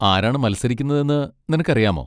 ആരാണ് മത്സരിക്കുന്നതെന്ന് നിനക്കറിയാമോ?